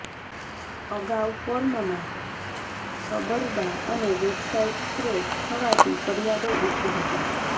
અગાઉ ફોર્મમાં છબરડાં અને વેબસાઇટ ક્રેશ થવાની ફરિયાદો ઉઠી હતી